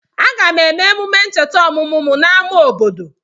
Aga m eme emume ncheta ọmụmụ m n'ámá obodo.